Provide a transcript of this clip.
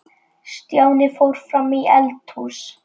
Stjáni fór fram í eldhús.